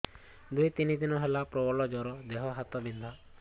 ଦୁଇ ଦିନ ହେଲା ପ୍ରବଳ ଜର ଦେହ ହାତ ବିନ୍ଧା